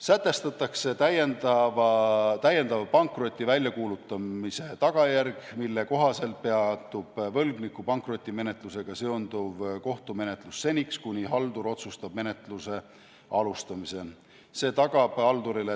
Sätestatakse täiendav pankroti väljakuulutamise tagajärg, mille kohaselt peatub võlgniku pankrotimenetlusega seonduv kohtumenetlus seniks, kuni haldur otsustab menetluse alustamise.